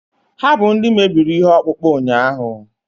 ha bụ ndị mebiri ihe ọkpụkpụ ụnyahụ